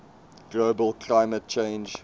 global climate change